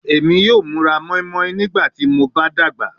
Emi yoo mura moinmoin nigbati mo dagba